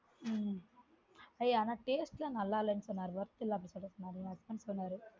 உம் ஏய் ஆனா taste எல்லான் நல்லா இல்ல worth இல்ல அப்டிட்டு சொன்னாரு என் husband சொன்னாரு